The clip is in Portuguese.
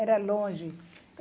Era longe.